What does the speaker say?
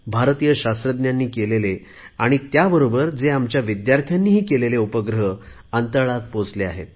भारतय शास्त्रज्ञांनी केलेले आणि त्याबरोबर आमच्या विद्यार्थ्यांनी केलेले उपग्रहही अंतराळत पोहचले आहेत